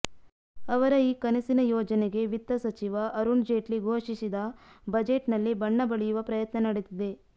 ಅವರ ಈ ಕನಸಿನ ಯೋಜನೆಗೆ ವಿತ್ತ ಸಚಿವ ಅರುಣ್ ಜೇಟ್ಲಿ ಘೋಷಿಸಿದ ಬಜೆಟ್ ನಲ್ಲಿ ಬಣ್ಣ ಬಳಿಯುವ ಪ್ರಯತ್ನ ನಡೆದಿದೆ